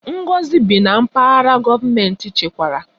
Ngozi bi na Mpaghara gọọmentị chekwara